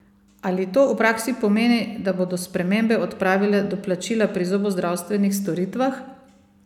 Ali to v praksi pomeni, da bodo spremembe odpravile doplačila pri zobozdravstvenih storitvah?